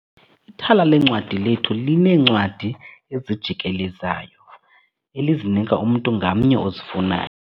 Ithala leencwadi lethu lineencwadi ezijikelezayo elizinika umntu ngamnye ozifunayo.